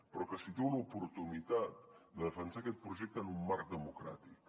però que situa l’oportunitat de defensar aquest projecte en un marc democràtic